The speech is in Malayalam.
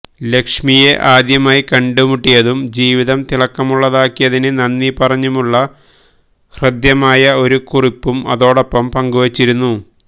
ലക്ഷ്മിയെ ആദ്യമായി കണ്ടുമുട്ടിയതും ജീവിതം തിളക്കമുള്ളതാക്കിയതിന് നന്ദി പറഞ്ഞുമുള്ള ഹൃദ്യമായ ഒരു കുറിപ്പും അതോടൊപ്പം പങ്കുവച്ചിരുന്നു